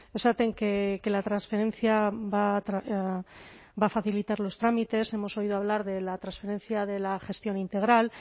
esaten que la transferencia va a facilitar los trámites hemos oído hablar de la transferencia de la gestión integral